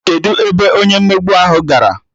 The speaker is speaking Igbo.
Kedụ ebe onye mmegbu ahụ gara?